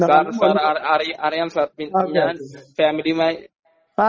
sir sir അറിയാം sir ഞാൻ ഫാമിലിയുമായി